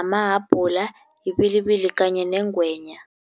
amahabhula, ibilibili kanye nengwenya.